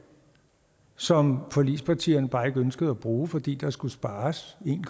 som forligspartierne bare ikke ønskede at bruge fordi der skulle spares en